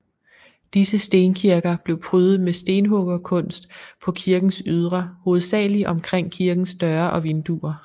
Disse stenkirker blev prydet med stenhuggerkunst på kirkens ydre hovedsageligt omkring kirkens døre og vinduer